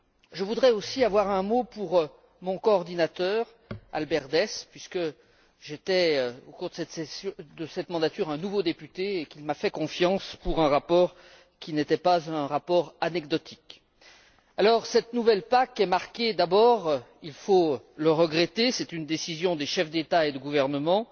Je voudrais aussi avoir un mot pour mon coordinateur, Albert Deß, puisque j'étais, au cours de cette mandature, un nouveau député et qu'il m'a fait confiance pour un rapport qui n'était pas anecdotique. Cette nouvelle PAC est d'abord marquée il faut le regretter, c'est une décision des chefs d'État et de gouvernement